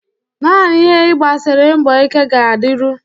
Naanị ihe ị gbasiri mbọ ike ga-adịru